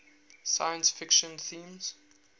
science fiction themes